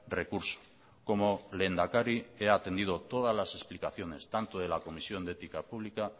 recurso como lehendakari he atendido todas las explicaciones tanto de la comisión de ética pública